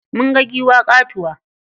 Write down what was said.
Mun ga giwa ƙatuwa.